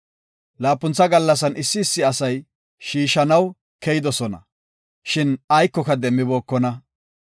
Laapuntha gallasan issi issi asay shiishanaw keyidosona, shin aykoka demmibookona.